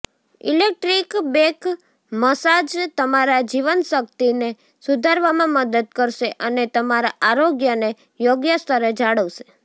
electric back massage તમારા જીવનશક્તિને સુધારવામાં મદદ કરશે અને તમારા આરોગ્યને યોગ્ય સ્તરે જાળવશે